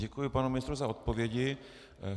Děkuji panu ministrovi za odpovědi.